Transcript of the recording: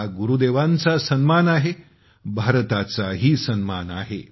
हा गुरुदेवांचा सन्मान आहे भारताचाही सन्मान आहे